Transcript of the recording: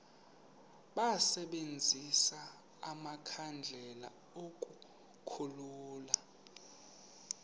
basebenzise amakhandlela ukukhulula